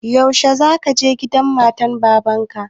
Yaushe za ka je gidan matan baban ka?